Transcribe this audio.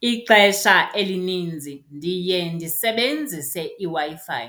Ixesha elininzi ndiye ndisebenzise iWi-Fi,